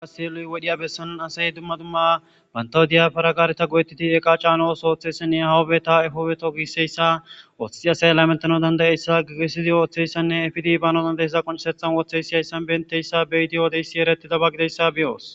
Gasiluy wodhiya bessanun asay dumma dumma bantawu diya faragaareta go'ettidi eqa caanos ooththeyssanne hawubeta efoobeto giisseyssa woothei asay laymentano dandayeyssa gigesizi ooththeyssanne efidibano dandayessa qoncesethan wooththeysi hayssan benteyssa beyiti yoodeyssi eretida ba gideyssa beyoos.